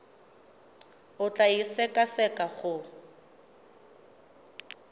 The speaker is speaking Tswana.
o tla e sekaseka go